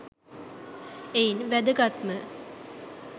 එයින් වැදගත්ම